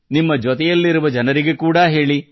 ನಿಮ್ಮ ಜೊತೆಯಲ್ಲಿರುವ ಜನರಿಗೆ ಕೂಡಾ ಹೇಳಿ